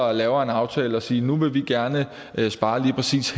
og laver en aftale at sige at nu vil vi gerne spare lige præcis